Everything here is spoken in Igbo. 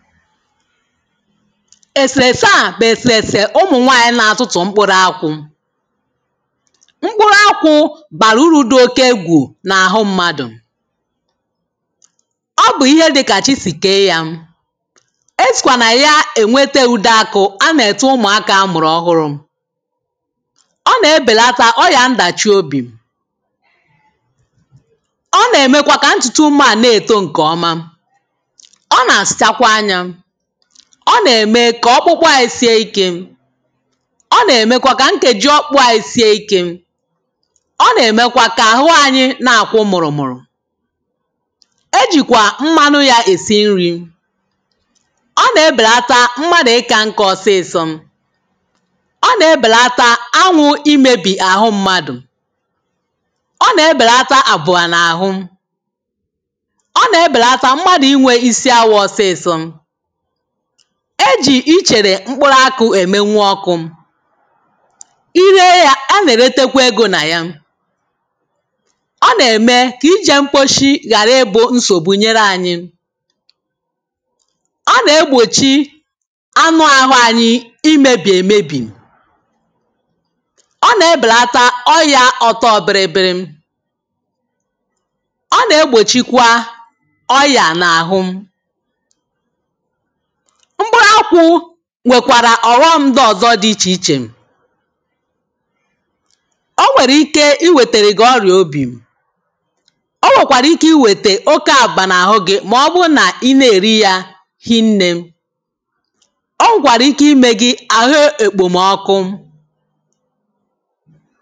Èsèrèse à bụ̀ èsèrèsè ụmụ̀ nwànyị na-atụtụ̀ mkpụrụ akwụ̄. mkpụrụ akwụ̄ bàrà urū dị̄ oke egwù n’àhụ mmadụ̀. ọ bụ̀ ihe dị kà chi sì kèe ya. esìkwà nà ya èwete ùde akụ̄ anà-ète ụmụ̀akā amụ̀rụ̀ ọhụrụ̄. ọ nà-ebèlata ọyà ndàchiobì. ọ nà-èmekwa kà ntùtù ụmāā na-èto ǹkè ọma. ọ nà-àsachakwa anyā. ọ nà-ème kà ọkpụkpụ anyị sie ikē. ọ nà-èmekwa kà nkèji ọkpụkpụ anyị sie ikē. ọ nà-èmekwa kà àhụ anyị na-àkwụ mụ̀rụ̀mụ̀rụ̀. ejìkwà mmanụ yā èsi nrī. ọ nà-ebèlata mmadụ̀ ịkā nkā ọsịsọ. ọ nà-ebèlata anwụ̄ imēbì àhụ mmadụ̀. ọ nà-ebèlata àpụ̀à n’àhụ. ọ nà-ebèlata mmadụ̀ inwē isi awọ̄ ọsịsọ. ejì ichèrè mkpụrụ akụ̄ èmenwu ọkụ̄. ị re yā anà-èretekwa egō nà ya. ọ nà-ème kà ijē mkposhi ghàra ịbụ̄ nsògbu nyere anyị. ọ nà-egbòchi anụ àhụ anyị imēbì èmebì. ọ nà-ebèlata ọyā ọ̀tọọ biribiri. ọ nà-egbòchikwa ọyà n’àhụ. mkpụrụ akwụ̄ nwèkwàrà ọ̀ghọm ndị̄ ọ̀zọ dị ichè ichè. o nwèrè ike iwètèrè gị̀ ọrị̀à obì. o nwèkwàrà ike iwètè oke àkpụ̀kpà n’àhụ gị̄ mà ọ bụ nà ị na-èri yā hinnē. o nwèkwàrà ike imē gị àhụ èkpòmọkụ.